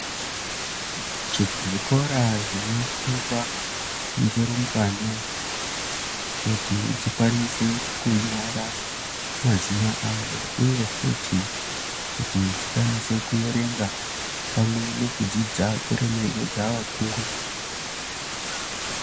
Zvikora zvinofundwa ngerungwana kuti dzikwanise kunyora mazina avo uye futi kuti dzikwanise kuverenga pamwe nekudzidza kuremekedza vakuru.